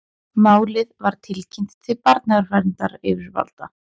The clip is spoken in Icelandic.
Málið var tilkynnt til barnaverndaryfirvalda